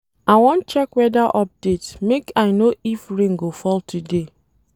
I wan check weather update make I know if rain go fall today.